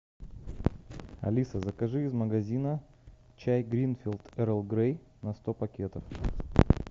алиса закажи из магазина чай гринфилд эрл грей на сто пакетов